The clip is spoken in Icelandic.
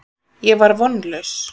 Ég var vonlaus.